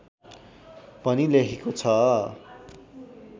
भनी लेखेको छ